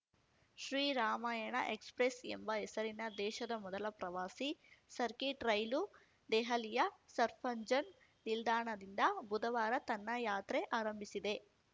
Shri Ramayana express ಎಂಬ ಹೆಸರಿನ ದೇಶದ ಮೊದಲ ಪ್ರವಾಸಿ ಸರ್ಕಿಟ್‌ ರೈಲು ದೆಹಲಿಯ ಸರ್ಫಂಜನ್ ನಿಲ್ದಾಣದಿಂದ ಬುಧವಾರ ತನ್ನ ಯಾತ್ರೆ ಆರಂಭಿಸಿದೆ